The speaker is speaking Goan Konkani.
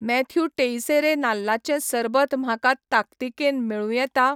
मॅथ्यू टेइसेरे नाल्लाचें सरबत म्हाका ताकतिकेन मेळूं येता?